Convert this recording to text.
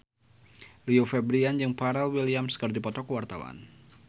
Rio Febrian jeung Pharrell Williams keur dipoto ku wartawan